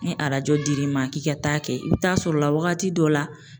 Ni arajo dir'i ma k'i ka taa kɛ i bi taa sɔrɔla wagati dɔw la.